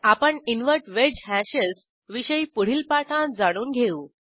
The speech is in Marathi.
आपण इन्व्हर्ट वेज हॅशेस विषयी पुढील पाठांत जाणून घेऊ